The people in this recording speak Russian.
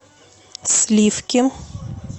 сливки